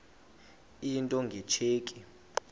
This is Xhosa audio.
into nge tsheki